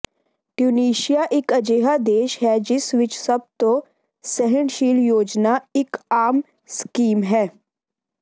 Tunisia ਇੱਕ ਅਜਿਹਾ ਦੇਸ਼ ਹੈ ਜਿਸ ਵਿੱਚ ਸਭ ਤੋਂ ਸਹਿਣਸ਼ੀਲ ਯੋਜਨਾ ਇੱਕ ਆਮ ਸਕੀਮ ਹੈ